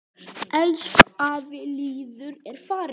Elsku afi Lýður er farinn.